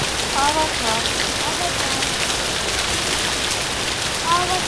аватар аватар